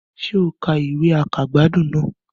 Sé o ka ìwé àkàgbádùn náà